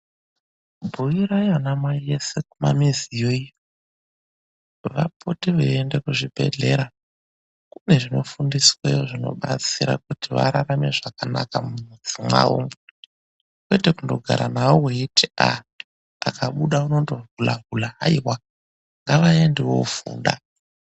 Bhuirai ana mai eshe kumamuziyo iyo vapote veiende kuzvibhehlera. Kune zvinofundisweyo zvinobatsira kuti vararame zvakanaka mumuzi mwavomwo ,kwete kungogara navo weiti vakabuda vanohula hula ,aiwa ngavaende vofunda